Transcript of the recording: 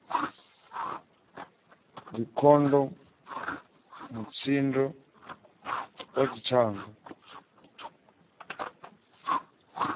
dzikhondomu mutsiko wa dzithanga u